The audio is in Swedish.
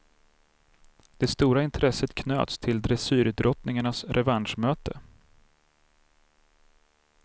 Det stora intresset knöts till dressyrdrottningarnas revanschmöte.